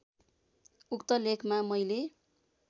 उक्त लेखमा मैले